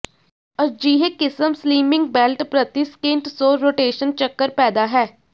ਅਜਿਹੇ ਕਿਸਮ slimming belt ਪ੍ਰਤੀ ਸਕਿੰਟ ਸੌ ਰੋਟੇਸ਼ਨ ਚੱਕਰ ਪੈਦਾ ਹੈ